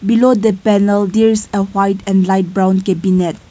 below the panel there is uh white and light brown cabinet.